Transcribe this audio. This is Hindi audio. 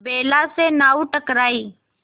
बेला से नाव टकराई